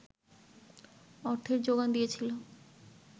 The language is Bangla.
অর্থের যোগান দিয়েছিলো